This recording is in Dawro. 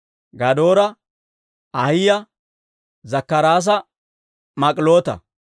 Gadoora, Ahiyaa, Zakkaraasa Mik'iloota.